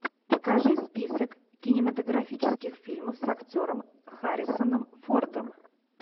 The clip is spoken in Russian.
покажи список кинематографических фильмов с актером харрисоном фордом